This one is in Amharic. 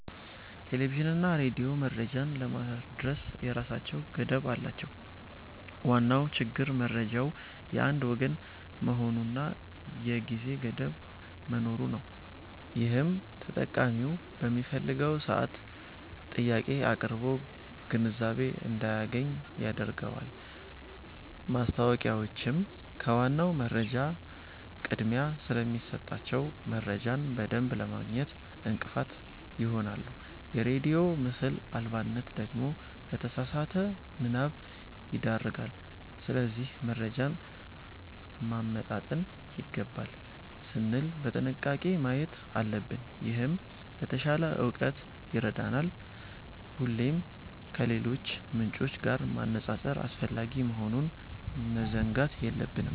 ቴሌቪዥንና ሬዲዮ መረጃን ለማድረስ የራሳቸው ገደብ አላቸው። ዋናው ችግር መረጃው የአንድ ወገን መሆኑና የጊዜ ገደብ መኖሩ ነው፤ ይህም ተጠቃሚው በፈለገው ሰዓት ጥያቄ አቅርቦ ግንዛቤ እንዳያገኝ ያደርገዋል። ማስታወቂያዎችም ከዋናው መረጃ ቅድሚያ ስለሚሰጣቸው፣ መረጃን በደንብ ለማግኘት እንቅፋት ይሆናሉ። የሬዲዮ ምስል አልባነት ደግሞ ለተሳሳተ ምናብ ይዳርጋል። ስለዚህ መረጃን ማመጣጠን ይገባል ስንል በጥንቃቄ ማየት አለብን፤ ይህም ለተሻለ እውቀት ይረዳናል። ሁሌም ከሌሎች ምንጮች ጋር ማነጻጸር አስፈላጊ መሆኑን መዘንጋት የለብንም።